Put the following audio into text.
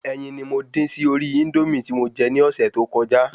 Ẹyin ni mo dín sí orí Índómì tí mo je ní ọ̀sẹ̀ to kọjá